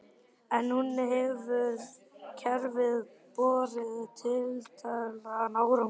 En hefur kerfið borið tilætlaðan árangur?